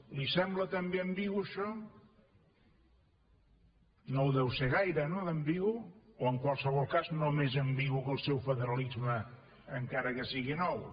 li sembla també ambigu això no ho deu ser gaire no d’ambigu o en qualsevol cas no més ambigu que el seu federalisme encara que sigui nou